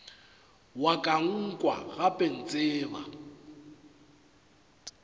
wa ka nkwa gape ntseba